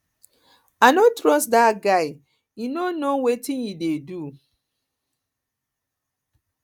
i no trust dat guy he no know wetin e dey do